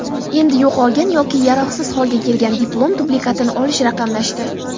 Endi yo‘qolgan yoki yaroqsiz holga kelgan diplom dublikatini olish raqamlashdi.